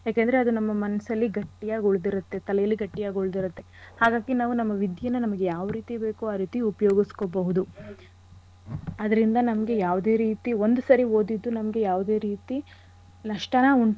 ಯಾಕಂದ್ರೆ ಅದು ನಮ್ಮ ಮನ್ಸಲ್ಲಿ ಗಟ್ಟಿಯಾಗ್ ಉಳ್ದಿರತ್ತೆ. ತಲೇಲಿ ಗಟ್ಟಿಯಾಗ್ ಉಳ್ದಿರತ್ತೆ. ಹಾಗಾಗಿ ನಾವು ನಮ್ಮ ವಿದ್ಯೆನ ನಮಿಗ್ ಯಾವ್ ರೀತಿ ಬೇಕೋ ಆ ರೀತಿ ಉಪ್ಯೋಗಿಸ್ಕೊಬಹುದು. ಅದ್ರಿಂದ ನಮ್ಗೆ ಯಾವ್ದೆ ರೀತಿ ಒಂದ್ ಸರಿ ಓದಿದ್ದು ನಮ್ಗೆ ಯಾವ್ದೆ ರೀತಿ ನಷ್ಟನ ಉಂಟ್.